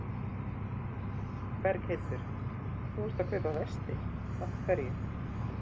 Berghildur: Þú ert að kaupa vesti, af hverju?